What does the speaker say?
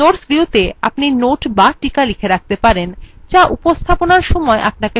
notes viewত়ে আপনি notes বা টীকা লিখে write পারেন যা উপস্থাপনার সময় আপনাকে সাহায্য করবে